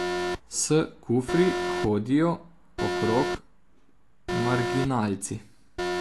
S kufri hodijo okrog marginalci.